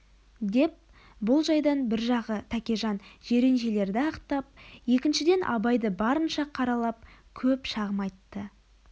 деп бұл жайдан бір жағы тәкежан жиреншелерді ақтап екіншіден абайды барынша қаралап көп шағым айтты